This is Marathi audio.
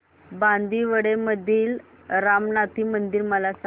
बांदिवडे मधील रामनाथी मंदिर मला सांग